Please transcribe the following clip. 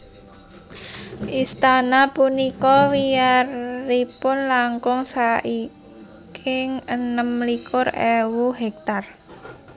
Istana punika wiyaripun langkung saiking enem likur ewu hektar